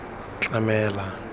tlamela